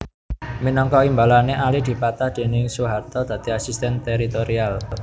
Minangka imbalané Ali dipatah déning Soeharto dadi Asisten Teritorial